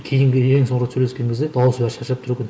кейінгі ең соңғы рет сөйлескен кезде дауысы бәрі шаршап тұр екен